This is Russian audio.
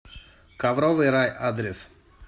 ковровый рай адрес